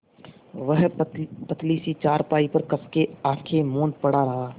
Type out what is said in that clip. वह पतली सी चारपाई पर कस के आँखें मूँदे पड़ा रहा